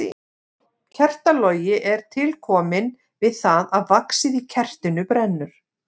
Kertalogi er til kominn við það að vaxið í kertinu brennur.